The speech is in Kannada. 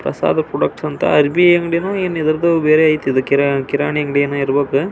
ಪ್ರಸಾದ ಪ್ರೊಡಕ್ಷನ್ಸ್ ಅಂತ ಅರ್ಬಿ ಅಂಗಡಿ ನೋ ಏನೋ ಬೇರೆ ಐತೆ ಏನೋ ಕಿರಾಣಿ ಕಿರಾಣಿ ಅಂಗಡಿ ಏನೋ ಇರ್ಬೇಕು--